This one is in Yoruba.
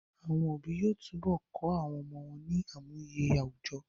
Àwọn òbí yóò tún bọ kọ́ àwọn ọmọ wọ́n ní àmúye àwùjọ